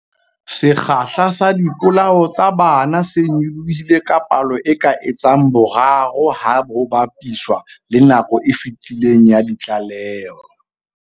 Sekgahla sa dipolao tsa bana se nyolohile ka palo e ka etsang boraro ha ho ba piswa le nakong e fetileng ya ditlaleho.